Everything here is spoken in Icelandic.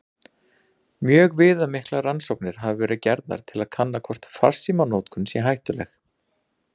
Mjög viðamiklar rannsóknir hafa verið gerðar til að kanna hvort farsímanotkun sé hættuleg.